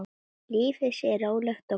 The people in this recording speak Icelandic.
Lífið sé rólegt og gott.